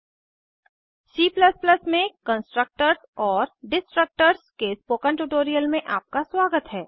C में constructors constructors और destructors destructors के स्पोकन ट्यूटोरियल में आपका स्वागत है